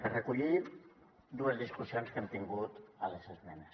per recollir dues discussions que hem tingut a les esmenes